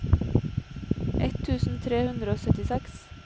ett tusen tre hundre og syttiseks